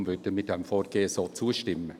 Deshalb würden wir diesem Vorgehen zustimmen.